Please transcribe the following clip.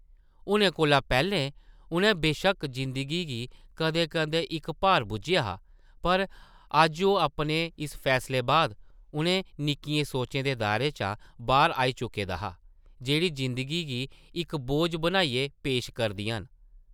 हुनै कोला पैह्लें उʼन्नै बेशक्क जिंदगी गी कदें-कदें इक भार बुज्झेआ हा पर अज्ज ओह् अपने इस फैसले बाद उʼनें निक्कियें सोचें दे दायरे चा बाह्र आई चुके दा हा, जेह्ड़ी जिंदगी गी इक बोझ बनाइयै पेश करदियां न ।